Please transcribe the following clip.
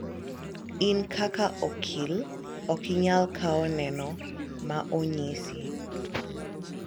in kaka okil ok inyal kawo neno na onyisi